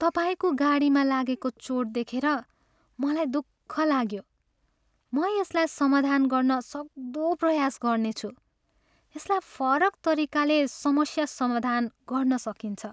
तपाईँको गाडीमा लागेको चोट देखेर मलाई दुःख लाग्यो, म यसलाई समाधान गर्न सक्दो प्रयास गर्नेछु। यसलाई फरक तरिकाले समस्या समाधान गर्न सकिन्छ।